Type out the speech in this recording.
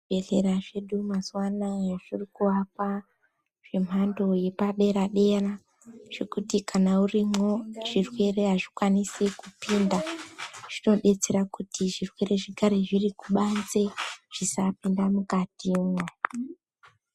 Zvibhedhlera zvedu mazuva anawa zviro kuakawa nemhando yepadera dera zvekuti kana urimo zvirwere azvikwanisi kupinda zvinodetsera kuti zvirwere zvigare zviri kubanze zvisapinda mukatimwo.